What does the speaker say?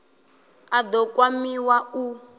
a d o kwamiwa u